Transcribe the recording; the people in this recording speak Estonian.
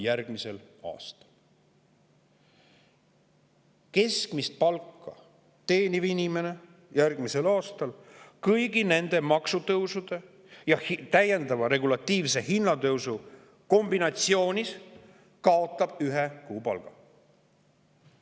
Keskmist palka teeniv inimene kaotab järgmisel aastal kõigi nende maksutõusude ja täiendava regulatiivse hinnatõusu kombinatsiooni ühe kuu palga.